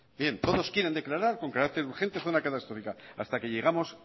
bien todos quieren declarar con carácter urgente zona catastrófica hasta que llegamos